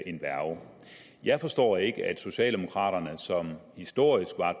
en værge jeg forstår ikke at socialdemokraterne som historisk